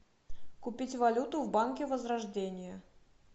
купить валюту в банке возрождение